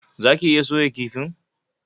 Zaki iya soya kifin?